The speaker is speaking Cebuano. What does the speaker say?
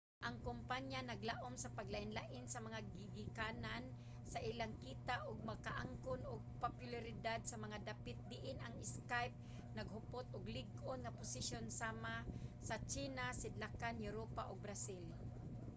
ang kompanya naglaum sa paglain-lain sa mga gigikanan sa ilang kita ug makaangkon og popularidad sa mga dapit diin ang skype naghupot og lig-on nga posisyon sama sa tsina sidlakan europa ug brazil